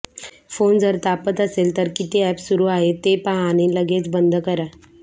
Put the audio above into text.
phone जर तापत असेल तर किती अॅप सुरू आहेत ते पाहा आणि लगेच बंद करा